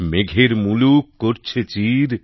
মেঘের মুলুক ধরছে চির